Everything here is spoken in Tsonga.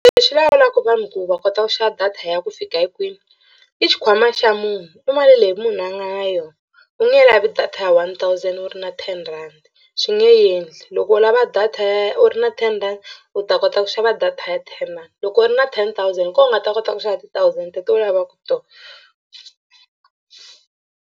Lexi lawulaka vanhu ku va kota ku xava data ya ku fika hi kwini i xikhwama xa munhu i mali leyi munhu a nga yona u nge lavi data ya one thousand wu ri na ten rhandi swi nge endli. Loko u lava data ya u ri na ten rand u ta kota ku xava data ya ten rand loko u ri na ten thousand hi kona u nga ta kota ku xava ti-thousand teto u lavaku tona.